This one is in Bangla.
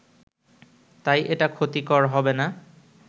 তাই এটা ক্ষতিকর হবেনা